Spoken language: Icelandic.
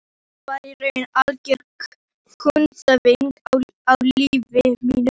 Þá varð í raun algjör kúvending á lífi mínu.